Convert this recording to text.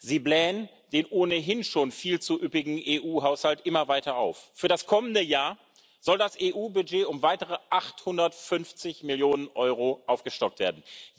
Sie blähen den ohnehin schon viel zu üppigen EU Haushalt immer weiter auf. Für das kommende Jahr soll das EU Budget um weitere 850 Millionen EUR aufgestockt werden.